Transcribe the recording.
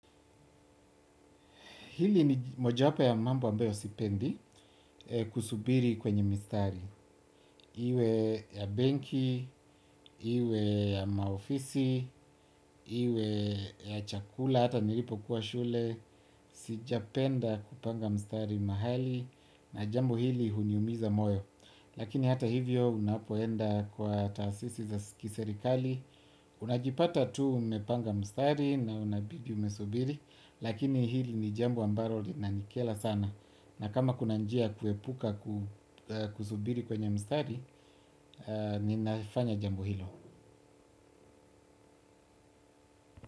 Hili ni moja wapo ya mambo ambayo sipendi kusubiri kwenye mistari. Iwe ya benki, iwe ya maofisi, iwe ya chakula, hata nilipo kuwa shule. Sijapenda kupanga mstari mahali na jambo hili uni umiza moyo. Lakini hata hivyo unapoenda kwa taasisi za kiserikali. Unajipata tu umepanga mstari na unabidi umesubiri. Lakini hili ni jambo ambalo lina nikela sana. Na kama kuna njia kuepuka kusubiri kwenye mstari, ninafanya jambo hilo.